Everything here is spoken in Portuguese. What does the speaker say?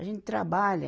A gente trabalha.